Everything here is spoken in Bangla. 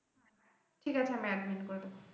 ঠিক আছে আমি admin করে দেবো।